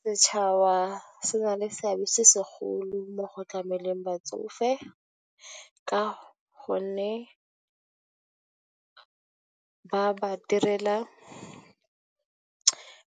Setšhaba se na le seabe se se golo mo go tlameleng batsofe ka gonne ba ba direla,